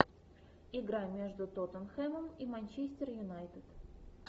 игра между тоттенхэмом и манчестер юнайтед